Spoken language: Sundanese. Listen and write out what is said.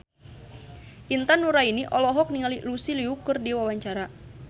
Intan Nuraini olohok ningali Lucy Liu keur diwawancara